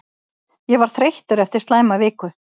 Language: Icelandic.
Ég var þreyttur eftir slæma viku.